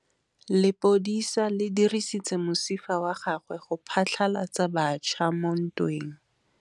Lepodisa le dirisitse mosifa wa gagwe go phatlalatsa batšha mo ntweng.